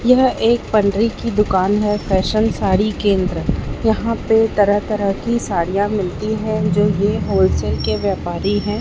यह एक पंडरी की दुकान है फैशन साड़ी केंद्र यहां पे तरह तरह की साड़ियां मिलती हैं जो की होलसेल के व्यापारी हैं।